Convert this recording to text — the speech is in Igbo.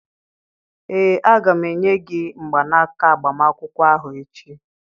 ee, a ga m enye gị mgbanaka agbamakwụkwọ ahụ echi